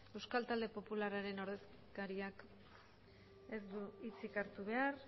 euskal talde popularraren ordezkariak ez du hitzik hartu behar